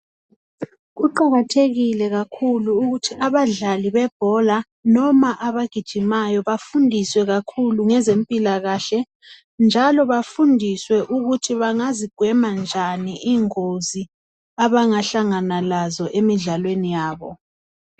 Kuqakathekile kakhulu ukuthi abadlali bebhola noma abagijimayo bafundiswe kakhulu ngezempilakahle njalo bafundiswe ukuthi bangazigwema njani ingozi abangahlangana lazo emidlalweni yabo.